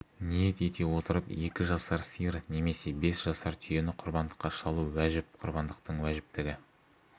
ниет ете отырып екі жасар сиыр немесе бес жасар түйені құрбандыққа шалу уәжіп құрбандықтың уәжіптігі